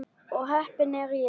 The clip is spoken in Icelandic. Ó heppin er ég.